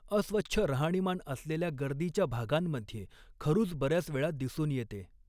अस्वच्छ राहणीमान असलेल्या गर्दीच्या भागांमध्ये खरुज बऱ्याच वेळा दिसून येते.